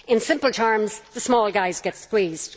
In simple terms, the small guys get squeezed.